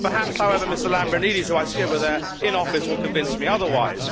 Perhaps, however, Mr Lambrinidis, who I see over there, in office, will convince me otherwise.